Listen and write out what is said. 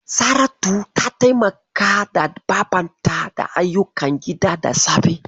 Saratu ta taimaka babarta da ayyukan gida da safe.